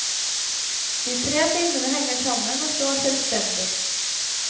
De tre filmene henger sammen, og står selvstendig.